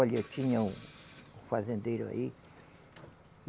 Olha, tinha um, um fazendeiro aí.